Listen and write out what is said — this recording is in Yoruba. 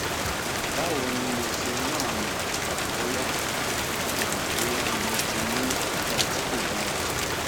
báwo ni mo ṣe máa mọ bóyá mo bóyá mo ti ní ipa tí kò dára